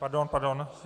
Pardon, pardon.